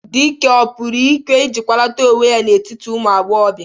Dike, ọ pụrụ ike ịjịkwalata onwe ya n'etiti ụmụ agbọghọbịa?